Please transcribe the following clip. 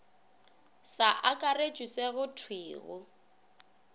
sa akaretšwe se go thwego